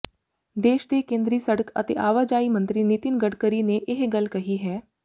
ਦੇਸ਼ ਦੇ ਕੇਂਦਰੀ ਸੜਕ ਤੇ ਆਵਾਜਾਈ ਮੰਤਰੀ ਨਿਤਿਨ ਗਡਕਰੀ ਨੇ ਇਹ ਗੱਲ ਕਹੀ ਹੈ